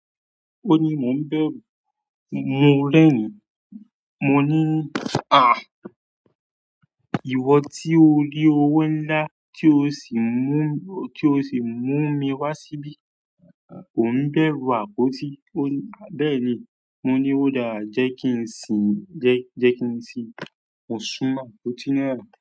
Óun ní, "Mò ń bẹ̀rù mo rẹ̀rin." Mọ ní, "Ah! Ìwọ tí ó rí owó ńlá tí ó sì mú, tí ó sì mú mi wá síbí, o ń bẹ̀rù àpótí?" Ó ní, "Bẹ́ẹ̀ ni." Mọ ní, "Ó dáa, jẹ́ kí n sìn, jẹ́ jẹ́ kí n sìn ó súnmọ́ àpótí náà."